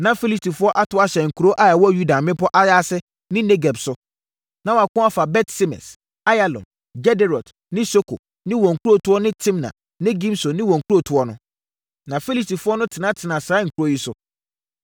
Na Filistifoɔ ato ahyɛ nkuro a ɛwɔ Yuda mmepɔ ayaase ne Negeb so. Na wɔako afa Bet-Semes, Ayalon, Gederot ne Soko ne wɔn nkurotoɔ ne Timna ne Gimso ne wɔn nkurotoɔ no. Na Filistifoɔ no tenatenaa saa nkuro yi so.